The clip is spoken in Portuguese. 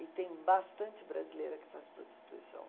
E tem bastante brasileira que faz prostituição.